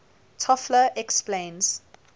toffler explains